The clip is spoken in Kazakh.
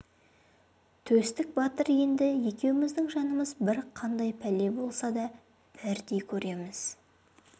төстік батыр енді екеуміздің жанымыз бір қандай пәле болса да бірдей көреміз